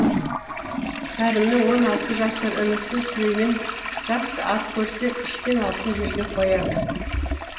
кәрімнің он алты жасар інісі сүлеймен жақсы ат көрсе ішкен асын жерге қояды